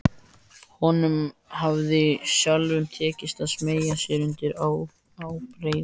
Honum hafði sjálfum tekist að smeygja sér undir ábreiðuna.